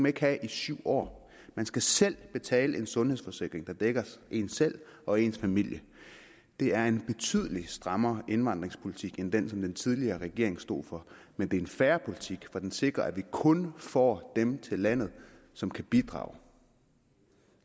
ikke have i syv år man skal selv betale en sundhedsforsikring der dækker en selv og ens familie det er en betydelig strammere indvandringspolitik end den som den tidligere regering stod for men det er en fair politik for den sikrer at vi kun får dem til landet som kan bidrage